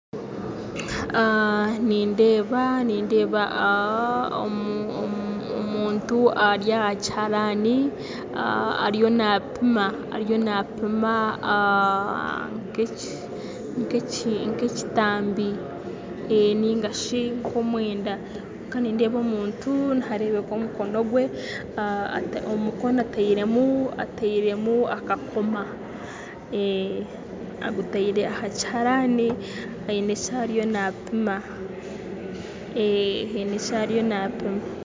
Nindeeba nindeeba omuntu ari aha kiharaani ariyo naapima ariyo naapima nk'ekitambi nainga shi nk'omwenda kandi nindeeba omuntu nihareebeka omukono gwe omu mukono atairemu atairemu akakomo omukono agutaire aha kiharaani aine eki ariyo naapima haine eki ariyo naapima